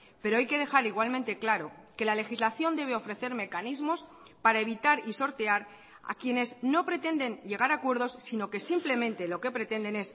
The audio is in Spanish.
pero hay que dejar igualmente claro que la legislación debe ofrecer mecanismos para evitar y sortear a quienes no pretenden llegar a acuerdos sino que simplemente lo que pretenden